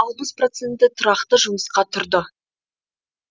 алпыс проценті тұрақты жұмысқа тұрды